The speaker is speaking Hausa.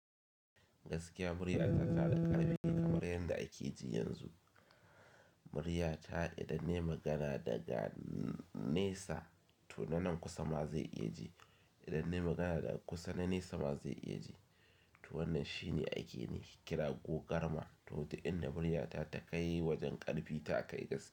Gaskiya murya ta tana da ƙarfi a kamar yan da ake ji yanzu. Murya ta idan nai magana daga nesa, to nanan kusa ma zai iya ji, idan ne magana daga kusa, nan nesa ma zai iya ji. To wannan shine aikin kira ko garma. To duk in na murya ta ta kai wajen ƙarfi, ta kai gaskiya.